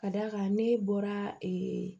Ka d'a kan ne bɔra ee